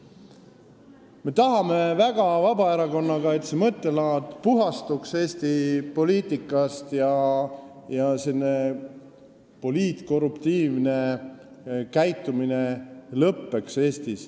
Me Vabaerakonnas tahame väga, et Eesti poliitika sellest mõttelaadist puhastuks ja poliitkorruptiivne käitumine Eestis lõppeks.